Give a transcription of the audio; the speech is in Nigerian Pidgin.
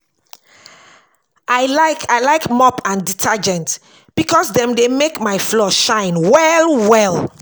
I like I like mop and detergent because dem dey make my floor shine well well